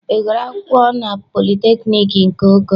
Ị gụrụ akwụkwọ na politekniik nke Oko?